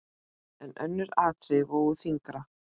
En önnur atriði vógu þyngra.